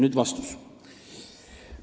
" Nüüd vastus.